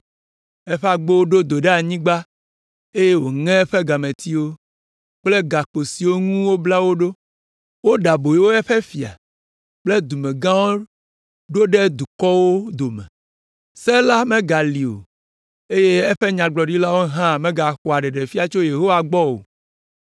Eƒe agbowo ɖo do ɖe anyigba eye wòŋe eƒe gametiwo kple gakpo siwo ŋu wobla wo ɖo. Woɖe aboyo eƒe fia kple dumegãwo ɖo ɖe dukɔwo dome, se la megali o eye eƒe Nyagblɔɖilawo hã megaxɔa ɖeɖefia tso Yehowa gbɔ o.